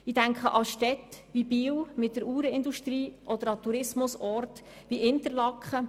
Ich denke an Städte wie Biel mit der Uhrenindustrie oder an Tourismusorte wie Interlaken.